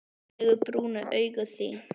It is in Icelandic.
Fallegu brúnu augun þín.